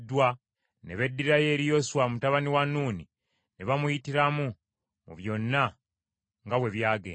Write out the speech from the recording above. ne beddirayo eri Yoswa mutabani wa Nuuni ne bamuyitiramu mu byonna nga bwe byagenda.